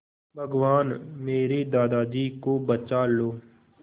भगवान मेरे दादाजी को बचा लो